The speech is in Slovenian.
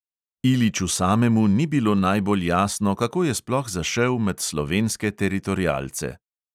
Iliću samemu ni bilo najbolj jasno, kako je sploh zašel med slovenske teritorialce.